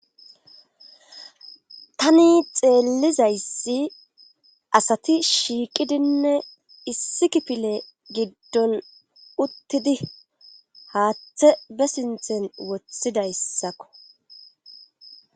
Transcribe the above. tani xeellizayssi asati shiiqidinne issi kifile giddon uttidi haaththe be sinthen wothidayssakko.